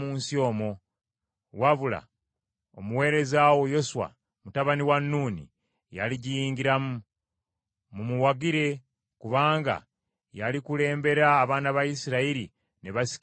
Wabula omuweereza wo Yoswa mutabani wa Nuuni ye aligiyingiramu. Mumuwagire, kubanga ye alikulembera abaana ba Isirayiri ne basikira ensi eyo.